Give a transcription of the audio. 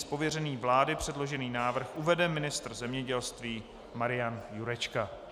Z pověření vlády předložený návrh uvede ministr zemědělství Marian Jurečka.